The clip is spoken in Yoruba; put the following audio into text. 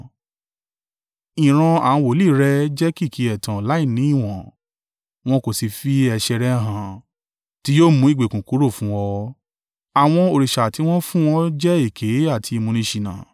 Ìran àwọn wòlíì rẹ jẹ́ kìkì ẹ̀tàn láìní ìwọ̀n; wọn kò sì fi ẹ̀ṣẹ̀ rẹ̀ hàn tí yóò mú ìgbèkùn kúrò fún ọ. Àwọn òrìṣà tí wọ́n fún ọ jẹ́ èké àti ìmúniṣìnà.